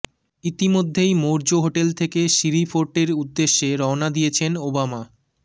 ইতিমধ্যেই মৌর্য হোটেল থেকে সিরি ফোর্টের উদ্দেশে রওনা দিয়েছেন ওবামা